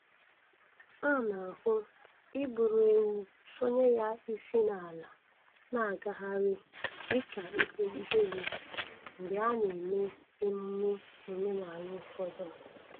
A na-ahụ iburu ewu sọnye ya isi n'ala na-agagharị dịka ihe ihere mgbe a na-eme emume omenaala ụfọdụ